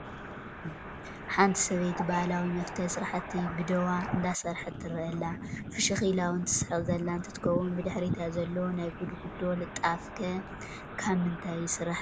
ሓንቲ ሰበይቲ ባህላዊ መፍተል ስራሕቲ ብደዋ እንዳሰረሐት ትረአ ኣላ፡፡ ፍሽኽ ኢላ ውን ትስሕቕ ዘላ እንትትከውን ብድሕሪታ ዘሎ ናይ ጉድጉዶ ልጣፍ ከ ካብ ምንታይ ይስራሕ ትብልዎ?